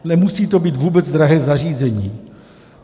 Nemusí to být vůbec drahé zařízení.